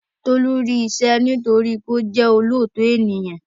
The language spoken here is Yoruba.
Tolú rí iṣẹ́ nítorí wípé ó jẹ́ olóòótọ ènìyàn